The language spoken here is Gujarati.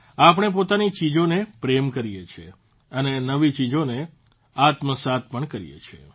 આપણે પોતાની ચીજોને પ્રેમ કરીએ છીએ અને નવી ચીજોને આત્મસાત પણ કરીએ છીએ